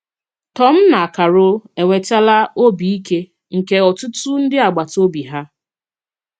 Tòm na Càrol enwetàlà ọ̀bì ìkè nke ọtụtụ ndị agbàtà òbì hà.